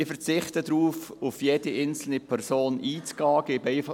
Ich verzichte darauf, auf jede einzelne Person einzugehen.